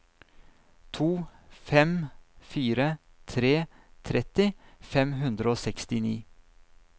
to fem fire tre tretti fem hundre og sekstini